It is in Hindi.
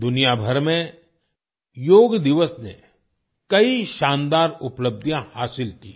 दुनिया भर में योग दिवस ने कई शानदार उपलब्धियां हासिल की हैं